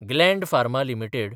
Gland Pharma limited